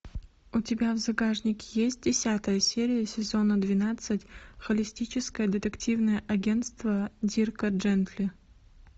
у тебя в загашнике есть десятая серия сезона двенадцать холистическое детективное агентство дирка джентли